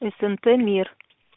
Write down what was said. снт мир